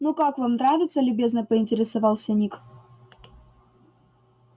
ну как вам нравится любезно поинтересовался ник